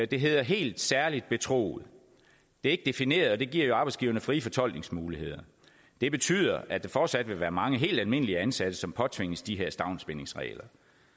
det hedder helt særlig betroet det er ikke defineret og det giver jo arbejdsgiverne frie fortolkningsmuligheder det betyder at der fortsat vil være mange helt almindelige ansatte som påtvinges de her stavnsbindingsregler